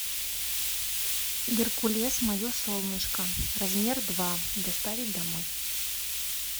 геркулес мое солнышко размер два доставить домой